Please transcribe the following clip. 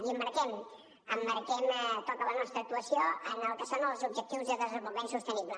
i emmarquem tota la nostra actuació en el que són els objectius de desenvolupament sostenible